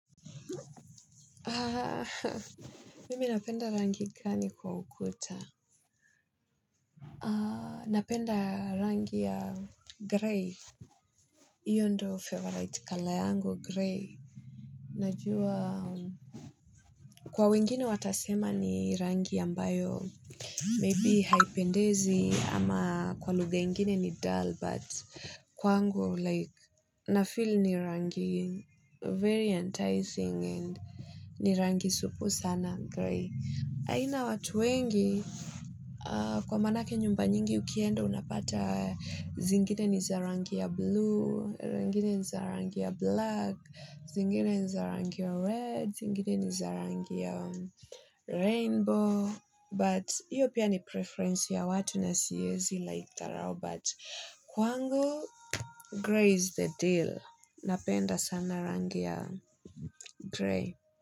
Mimi napenda rangi gani kwa ukuta? Napenda rangi ya grey. Iyo ndo favorite color yangu grey. Najua kwa wengine watasema ni rangi ambayo maybe haipendezi ama kwa lugha ingine ni dull but kwangu like na feel ni rangi very enticing and ni rangi supu sana grey. Aina watu wengi, kwa maanake nyumba nyingi ukienda unapata zingine ni za rangi ya blue, zingine ni za rangi ya black, zingine ni za rangi ya red, zingine ni za rangi ya rainbow, but iyo pia ni preference ya watu na siwezi live ka wao, but kwangu, grey is the deal. Napenda sana rangi ya grey.